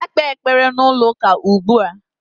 Gaa kpee ekpere n'ụlọụka ugbu a!